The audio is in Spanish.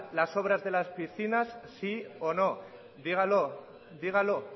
las obras de las piscinas sí o no dígalo dígalo